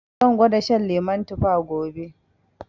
Zan gwada shan lemu tuffa gobe